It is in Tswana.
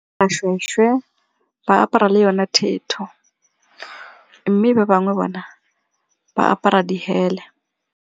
ba apara le yone thetho mme ba bangwe bona ba apara dihele.